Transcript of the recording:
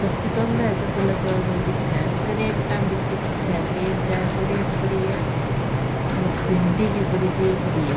सब्जी तोले है चाकू लगाउडो दिखे क्रेटा भी दिखे है तीन चार कैरेट पड़ी है और भिंडी भी पड़ी दिख री है।